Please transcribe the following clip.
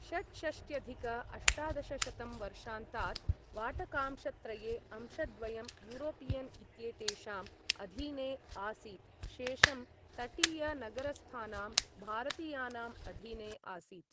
षट्षष्ट्यधिक अष्टादशशतं वर्षान्तात् वाटकांशत्रये अंशद्वयं यूरोपियन् इत्येतेषाम् अधीने आसीत्, शेषं तटीय नगरस्थानां भारतीयानाम् अधीने आसीत्।